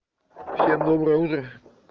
всем доброе утро